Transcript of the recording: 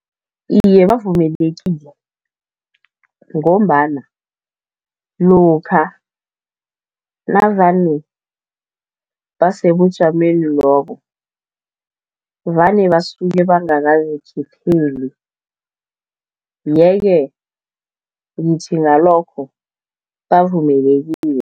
Iye, bavumelekile ngombana lokha navane basebujameni lobo, vane basuke bangakazikhetheli. Ye-ke ngithi ngalokho bavumelekile.